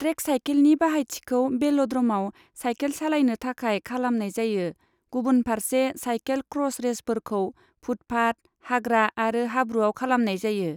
Track सायखेलनि बाहायथिखौ बेल'द्रमाव सायखेल सालायनो थाखाय खालामनाय जायो, गुबुनफारसे सायखेल क्र'स रेसफोरखौ, फुटपाथ, हाग्रा आरो हाब्रुआव खालामनाय जायो।